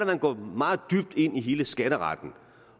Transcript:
man går meget dybt ind i hele skatteretten